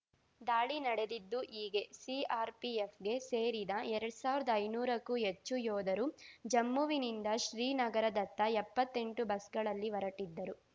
ದಾಳಿ ನಡೆದಿದ್ದು ಹೀಗೆ ಸಿಆರ್‌ಪಿಎಫ್‌ಗೆ ಸೇರಿದಎರಡ್ ಸಾವಿರ್ದಾ ಐನೂರಕ್ಕೂ ಹೆಚ್ಚು ಯೋಧರು ಜಮ್ಮುವಿನಿಂದ ಶ್ರೀನಗರದತ್ತ ಎಪ್ಪತ್ತೆಂಟು ಬಸ್‌ಗಳಲ್ಲಿ ಹೊರಟಿದ್ದರು